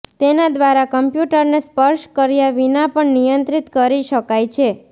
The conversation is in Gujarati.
તેના દ્વારા કમ્પ્યુટરને સ્પર્શ કર્યા વિના પણ નિયંત્રિત કરી શકાય છે